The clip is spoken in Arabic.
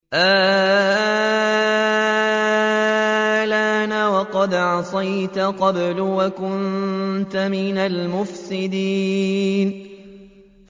آلْآنَ وَقَدْ عَصَيْتَ قَبْلُ وَكُنتَ مِنَ الْمُفْسِدِينَ